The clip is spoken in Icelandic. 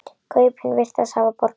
Kaupin virðast hafa borgað sig.